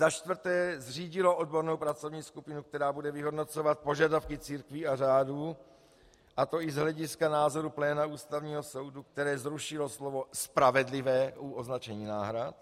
Za čtvrté zřídilo odbornou pracovní skupinu, která bude vyhodnocovat požadavky církví a řádů, a to i z hlediska názoru pléna Ústavního soudu, které zrušilo slovo "spravedlivé" u označení náhrad.